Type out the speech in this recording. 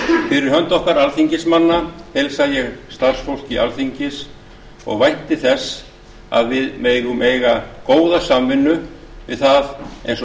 fyrir hönd okkar alþingismanna heilsa ég starfsfólki alþingis og vænti þess að við megum eiga góða samvinnu við það eins og